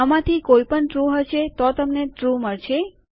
આમાંથી કોઈ પણ ટ્રૂ હશે તો તમને ટ્રૂ મળશે